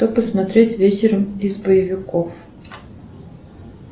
что посмотреть вечером из боевиков